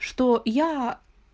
что я